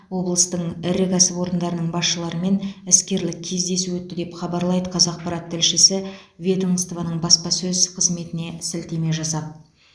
облыстың ірі кәсіпорындарының басшыларымен іскерлік кездесу өтті деп хабарлайды қазақпарат тілшісі ведомствоның баспасөз қызметіне сілтеме жасап